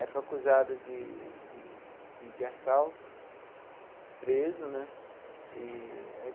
Aí foi acusado de de de de assalto, preso né eee.